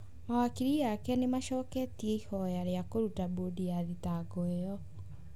Mawakiri ake nĩmacoketie ihoya rĩa kũrũta bodi ya thitango ĩyo.